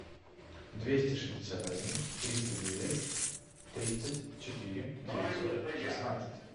двести шестьдесят один триста девять тридцать четыре девятьсот шестнадцать